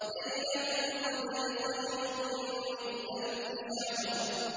لَيْلَةُ الْقَدْرِ خَيْرٌ مِّنْ أَلْفِ شَهْرٍ